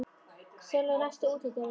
Sveinlaugur, læstu útidyrunum.